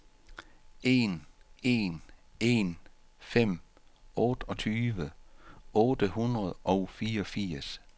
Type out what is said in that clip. en en en fem otteogtyve otte hundrede og fireogfirs